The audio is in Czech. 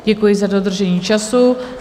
Děkuji za dodržení času.